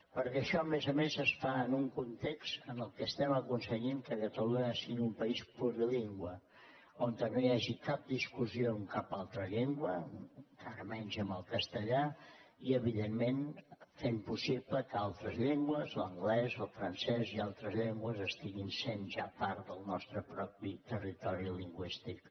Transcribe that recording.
perquè això a més a més es fa en un context en què estem aconseguint que catalunya sigui un país plurilingüe on no hi hagi cap discussió amb cap altra llengua encara menys amb el castellà i evidentment fent possible que altres llengües l’anglès el francès i altres llengües estiguin sent ja part del nostre propi territori lingüístic